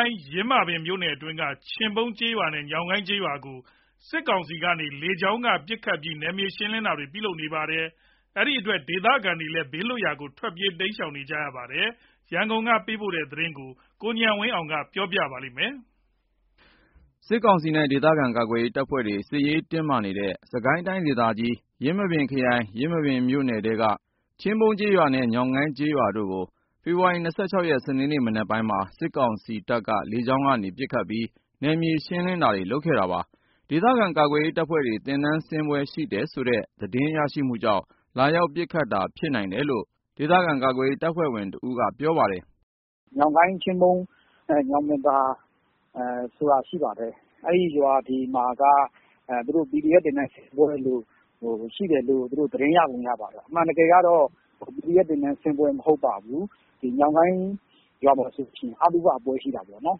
ိုင် ယင်းမာပင်မြို့နယ်ထဲက ချင်းပုန်းကျေးရွာနဲ့ ညောင်းကိုင်းကျေးရွာကို စစ်ကောင်စီက လေကြောင်းကနေ ပစ်ခတ်ပြီး နယ်မြေရှင်းလင်းတာတွေ ပြုလုပ်နေပါတယ်။ ဒီအတွက် ဒေသခံတွေလည်း ဘေးလွတ်ရာကို ထွက်ပြေး တိမ်းရှောင်နေရပါတယ်။ ရန်ကုန်ကနေ သတင်းပေးပို့ထားပါတယ်။ စစ်ကောင်စီနဲ့ ဒေသခံ ကာကွယ်ရေးတပ်ဖွဲ့တွေနဲ့ စစ်ရေးတင်းမာနေတဲ့ စစ်ကိုင်းတိုင်းဒေသကြီး ယင်းမာပင်ခရိုင် ယင်းမာပင်မြို့နယ်ထဲက ချင်းပုန်းကျေးရွာနဲ့ ညောင်ကိုင်းကျေးရွာတို့ကို ဖေဖော်ဝါရီ ၂၆ ရက် စနေနေ့မနက်ပိုင်းမှာ စစ်ကောင်စီက လေကြောင်းကနေ ပစ်ခတ်ပြီး နယ်မြေရှင်းလင်းတာတွေ လုပ်ခဲ့တာပါ။ ဒေသခံ ကာကွယ်ရေးတပ်ဖွဲ့တွေ သင်တန်းဆင်းပွဲ ရှိတယ်ဆိုတဲ့ သတင်းရရှိမှုကြောင့် လာရောက်ပစ်ခတ်တာ ဖြစ်နိုင်တယ်လို့ ဒေသခံ ကာကွယ်ရေးတပ်ဖွဲ့ဝင်တဦးက ပြောပါတယ်။ “ညောင်ကိုင်း၊ ချင်းပုန်း၊ ညောင်ပင်သာဆိုတာရှိတယ်။ အဲ့ရွာတွေမှာက PDF သင်တန်းဆင်းပွဲရှိတယ်လို့ သတင်းရပုံ ရပါတယ်။ အမှန်တကယ်က PDF သင်တန်းဆင်းပွဲ မဟုတ်ပါဘူး။ ညောင်ကိုင်းရွာမှာဆိုရင် အသုဘပွဲ ရှိတာပေါ့နော်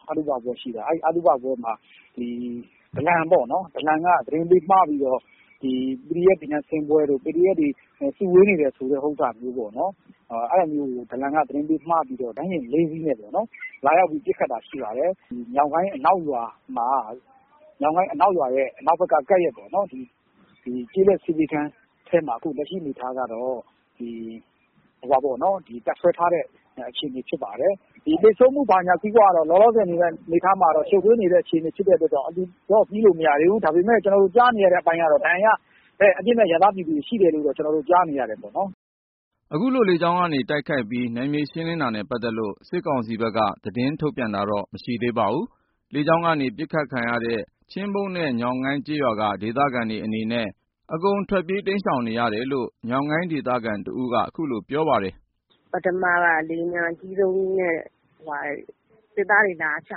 ။ အဲ့အသုဘပွဲမှာ ဒလန်ပေါ့နော်။ ဒလန်က သတင်းပေးမှားပြီးတော့ PDF သင်တန်းဆင်းပွဲလို့ PDF စုဝေးနေတယ်ဆိုတဲ့ဟာကို ဒလန်က သတင်းပေးမှားပြီးတော့ ရဟတ်ယာဉ် ၄ စီးနဲ့ လာရောက်ပစ်ခတ်တာ ဖြစ်ပါတယ်။ ညောင်ကိုင်းအနောက်ရွာ၊ ညောင်ကိုင်းအနောက်ဘက်ရွာရဲ့ ကပ်ရပ် ကျေးလက်ဆေးပေးခန်းထဲမှာ အခုလက်ရှိ တပ်စွဲထားတဲ့ အခြေအနေဖြစ်တယ်။ သေဆုံးမှုအနေအထားက လောလောဆယ် ရှုပ်ထွေးနေတဲ့ အခြေအနေ ဖြစ်တဲ့အတွက်ကြောင့် အတည်ပြုလို့ မရသေးဘူး။ ကျနော်တို့ကြားနေရတာက ဒဏ်ရာရ အပြစ်မဲ့ပြည်သူ အရပ်သား ပြည်သူတွေ ရှိတယ်လို့တော့ ကြားနေရတယ်ပေါ့။” အခုလို လေကြောင်းကတိုက်ခိုက်ပြီး နယ်မြေရှင်းလင်းတာနဲ့ ပတ်သက်လို့ စစ်ကောင်စီဘက်က သတင်းထုတ်ပြန်တာတော့ မရှိသေးပါဘူး။ လေကြောင်းကနေ ပစ်ခံရတဲ့ ချင်းပုန်းနဲ့ ညောင်းကိုင်းကျေးရွာက ဒေသခံတွေအနေနဲ့ အကုန်ထွက်ပြေး တိမ်းရှောင်နေရတယ်လို့ ညောင်ကိုင်းဒေသခံတဦးက အခုလိုပြောပါတယ်။ “ပထမက လေယာဉ်ပျံအကြီးဆုံးကြီးနဲ့ စစ်သားတွေ လာချ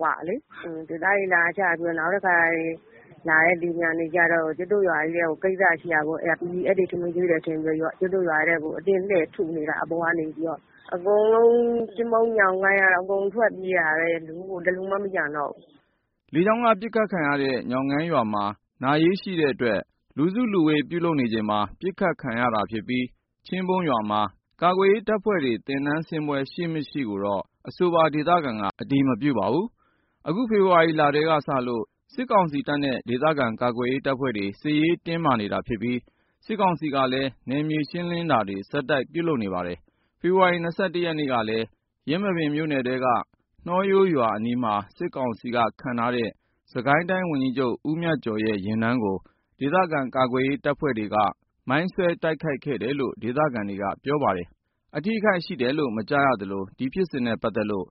သွားတာလေ။ စစ်သားတွေ လာချပြီးတော့ နောက်လာတဲ့ လေယာဉ်ကြီးက PDF တွေ ထမင်းကျွေးတယ်ထင်ပြီး ကျုပ်တို့ရွာထဲကို အတင်းလှည့်ပြီး ထုနေတာ၊ အပေါ်ကနေပြီးတော့ အကုန် ချင်းပုန်း၊ ညောင်ကိုင်းကတော့ အကုန်ထွက်ပြေးနေတာပဲ တလူမှ မကျန်တော့ဘူး။” လေကြောင်းက ပစ်ခတ်ခံရတဲ့ ညောင်ကိုင်းရွာမှာ နာရေးရှိတဲ့အတွက် လူစုလူဝေး ပြုလုပ်နေချိန်မှာ ပစ်ခတ်ခံရတာဖြစ်ပြီး ချင်းပုန်းရွာမှာ ကာကွယ်ရေးတပ်ဖွဲ့တွေ သင်တန်းဆင်းပွဲ ရှိမရှိကိုတော့ အဆိုပါ ဒေသခံက အတည်မပြုပါဘူး။ အခုလ ဖေဖော်ဝါရီလထဲကစလို့ စစ်ကောင်စီနဲ့ ဒေသခံကာကွယ်ရေးတပ်ဖွဲ့တွေ စစ်ရေးတင်းမာနေတာဖြစ်ပြီး စစ်ကောင်စီကလည်း နယ်မြေရှင်းလင်းတာတွေ ဆက်တိုက်ပြုလုပ်နေပါတယ်။ ဖေဖော်ဝါရီ ၂၁ ရက်ကလည်း ယင်းမာပင်မြို့နယ်ထဲက နှောရိုးရွာအနီးမှာ စစ်ကောင်စီက ခန့်အပ်ထားတဲ့ စစ်ကိုင်းတိုင်းဝန်ကြီးချုပ် မြတ်ကျော်ရဲ့ ယာဉ်တန်းကို ဒေသခံ ကာကွယ်ရေးတပ်ဖွဲ့တွေက မိုင်းဆွဲတိုက်ခိုက်ခဲ့တယ်လို့ ဒေသခံတွေ ပြောကြပါတယ်။ အထိအခိုက်ရှိတယ်လို့ မကြားရသလို ဒီဖြစ်စဉ်နဲ့ပတ်သက်လို့